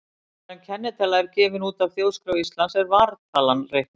Áður er kennitala er gefin út af Þjóðskrá Íslands er vartalan reiknuð.